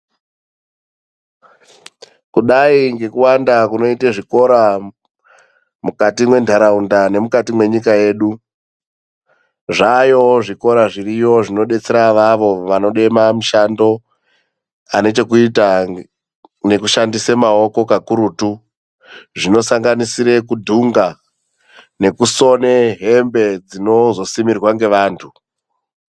Kudai ngekuwanda kunoite zvikora mukati mwendaraunda nemukati mwenyika yedu. Zvaayo zvikora zviriyo zvinodetsera avavo vanode mamishando anochekuita nekushandisa maoko kakurutu zvinosanganisira kudhunga nekusona hembe dzinozosimirwa nevantu.